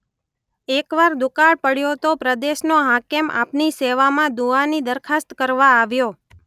એકવાર દુકાળ પડયો તો પ્રદેશનો હાકેમ આપની સેવામાં દુઆની દરખાસ્ત કરવા આવ્યો.